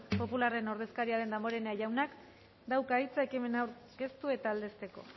popularraren ordezkaria den damborenea jaunak dauka hitza ekimena aurkeztu eta aldezteko